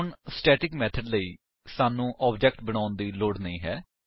ਹੁਣ static method ਲਈ ਸਾਨੂੰ ਆਬਜੇਕਟ ਬਣਾਉਣ ਦੀ ਲੋੜ ਨਹੀਂ ਹੈ